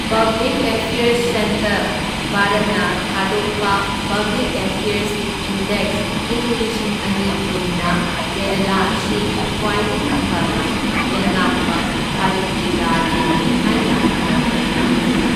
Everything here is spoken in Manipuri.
ꯄꯕ꯭ꯂꯤꯛ ꯑꯦꯐ꯭ꯌꯔꯁ ꯁꯦꯟꯇꯔ, ꯚꯥꯔꯠꯅ ꯊꯥꯗꯣꯛꯄ ꯄꯕ꯭ꯂꯤꯛ ꯑꯦꯐ꯭ꯌꯔꯁ ꯏꯟꯗꯦꯛꯁ ꯢꯪ ꯂꯤꯁꯤꯡ ꯑꯅꯤ ꯀꯨꯟꯅ ꯀꯦꯔꯥꯂꯥ ꯑꯁꯤ ꯈ꯭ꯋꯥꯏꯗꯒꯤ ꯐꯅ ꯂꯩꯉꯥꯛꯄ ꯚꯥꯔꯠꯀꯤ ꯔꯥꯖ꯭ꯌꯅꯤ ꯍꯥꯏꯅ ꯃꯤꯡꯊꯣꯟ ꯄꯤꯈꯤ꯫